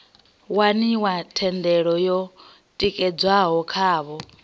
waniwa thendelo yo tikedzwaho khavho